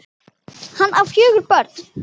Hann á fjögur börn.